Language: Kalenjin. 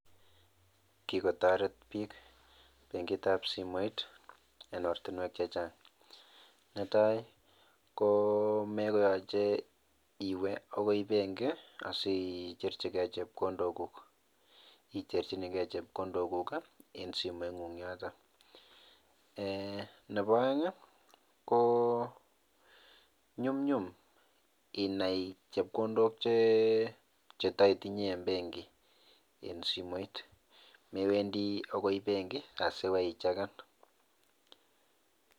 Kikotoret bik bankit ab simoit en ortinwek che chang netai komekoyoche iwee akoi bankit asicherchi gee chepkondoo guuk icherchinii gee chepkondok guuk en simoit nyuk yotok eeh nebo oeng ko nyumyum inai chekondok cheitoitinyee en benkit en simoit mewendii akoi bankit asiiwoi icheken.